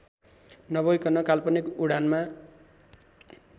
नभइकन काल्पनिक उडानमा